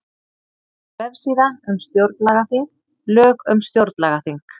Vefsíða um stjórnlagaþing Lög um stjórnlagaþing